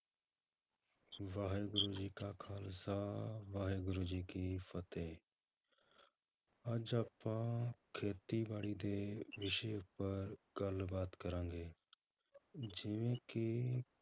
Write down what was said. ਵਾਹਿਗੁਰੂ ਜੀ ਕਾ ਖ਼ਾਲਸਾ, ਵਾਹਿਗੁਰੂ ਜੀ ਕੀ ਫਤਿਹ ਅੱਜ ਆਪਾਂ ਖੇਤੀਬਾੜੀ ਦੇ ਵਿਸ਼ੇ ਉੱਪਰ ਗੱਲਬਾਤ ਕਰਾਂਗੇ, ਜਿਵੇਂ ਕਿ